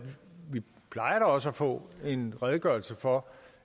også at få en redegørelse for